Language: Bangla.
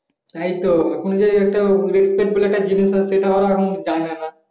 তাইতো এখন যে একটু respect বলে একটা জিনিস আছে সেটা ওরা এখন জানে না।